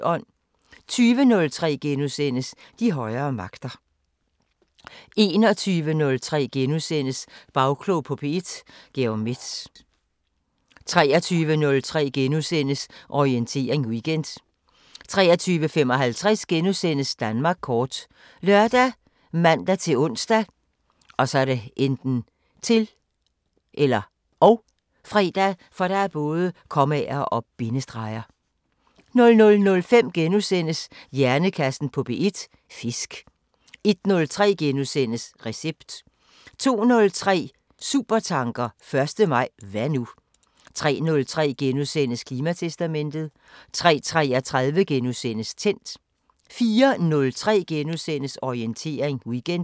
20:03: De højere magter * 21:03: Bagklog på P1: Georg Metz * 23:03: Orientering Weekend * 23:55: Danmark kort *( lør, man-ons, -fre) 00:05: Hjernekassen på P1: Fisk * 01:03: Recept * 02:03: Supertanker: 1. maj – hvad nu 03:03: Klimatestamentet * 03:33: Tændt * 04:03: Orientering Weekend *